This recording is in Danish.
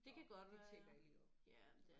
Nåh det tjekker jeg lige op